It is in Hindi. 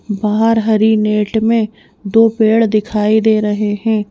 बाहर हरी नेट में दो पेड़ दिखाई दे रहे हैं।